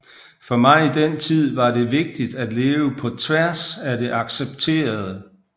For mig i den tid var det vigtigt at leve på tværs af det accepterede